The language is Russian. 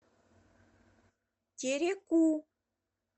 тереку